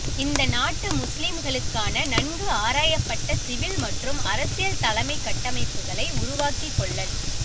இந்த நாட்டு முஸ்லிம்களுக்கான நன்கு ஆராயப்பட்ட சிவில் மற்றும் அரசியல் தலைமைக் கட்டமைப்புக்களை உருவாக்கிக் கொள்ளல்